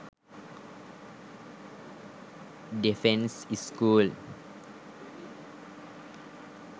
defence school